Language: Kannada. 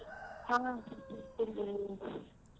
ಹಾ .